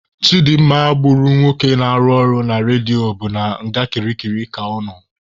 Chidimma gburu nwoke na-arụ ọrụ na redio bụ na nga kirikiri ka ọ nọ.